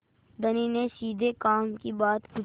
धनी ने सीधे काम की बात पूछी